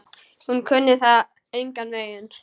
Hún kunni það engan veginn.